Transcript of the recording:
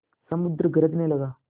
समुद्र गरजने लगा